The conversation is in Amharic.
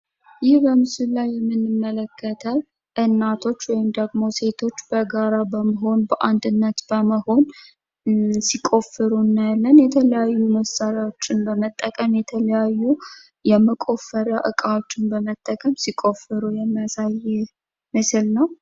ይህ በምስሉ ላይ የምንመለከተው እናቶች ወይም ሴቶች በጋራ እና በአንድነት በመሆን የተለያዩ የመቆፈሪያ መሳሪያዎችን በመጠቀም ሲቆፍሩ የሚያሳይ ምስል ነው ።